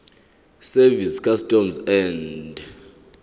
service customs and